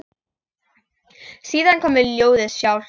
Síðan kom ljóðið sjálft: